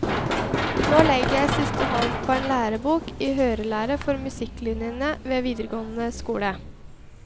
Nå legger jeg siste hånd på en lærebok i hørelære for musikklinjene ved videregående skole.